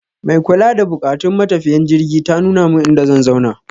Mai kula da buƙatun matafiyan jirgi ta nuna min inda zan zauna.